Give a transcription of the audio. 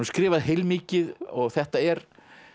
skrifað heilmikið og þetta er